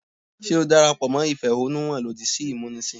Ṣé o darapọ̀ mọ́ ìfẹ̀hánnúhàn lòdì sí ìmúnisìn?